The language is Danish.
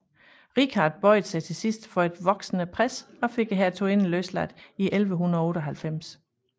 Richard bøjede sig til sidst for et voksende pres og fik hertuginden løsladt i 1198